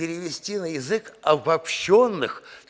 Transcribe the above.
перевести на язык обобщённых